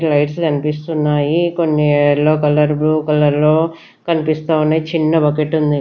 Lights కనిపిస్తున్నాయి కొన్ని yellow colour blue colour లో కనిపిస్తా ఉన్నాయి చిన్న బకెట్ ఉంది.